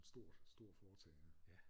Stort stort foretagende